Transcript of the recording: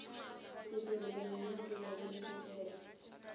ku tirhisa mimepe ya miehleketo